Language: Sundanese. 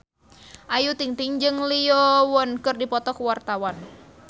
Ayu Ting-ting jeung Lee Yo Won keur dipoto ku wartawan